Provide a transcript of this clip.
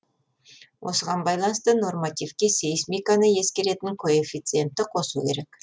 осыған байланысты нормативке сейсмиканы ескеретін коэффициентті қосу керек